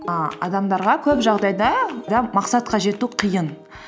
і адамдарға көп жағдайда мақсатқа жету қиын